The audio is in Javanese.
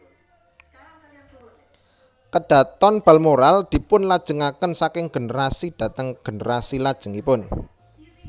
KadhatonBalmoral dipunlajengaken saking generasi dhateng generasi lajengipun